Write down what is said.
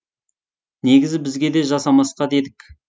негізі бізге де жасамасқа дедік